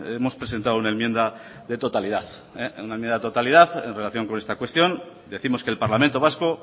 hemos presentado una enmienda de totalidad en relación con esta cuestión decimos que el parlamento vasco